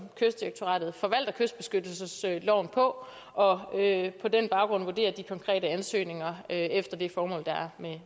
kystdirektoratet forvalter kystbeskyttelsesloven på og på den baggrund vurderer de konkrete ansøgninger efter det formål der er